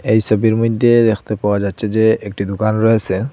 এই সবির মইদ্যে দেখতে পাওয়া যাচ্ছে যে একটি দোকান রয়েসে।